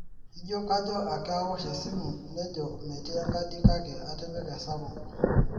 ijio kajo ake awosh esimu nejo metii enkadi kake atipika esapuk